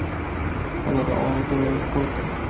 Jag lade av och började skolka.